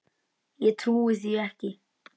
Ég trúi því ekki,